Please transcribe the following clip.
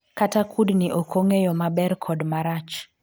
kata kudni ok ong'eyo maber kod marach